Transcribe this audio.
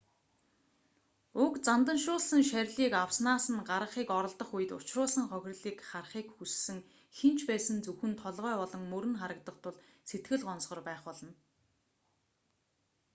уг занданшуулсан шарилыг авснаас нь гаргахыг оролдох үед учруулсан хохирлыг харахыг хүссэн хэн ч байсан зөвхөн толгой болон мөр нь харагдах тул сэтгэл гонсгор байх болно